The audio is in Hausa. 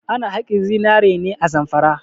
Ana haƙin zinare ne a Zamfara.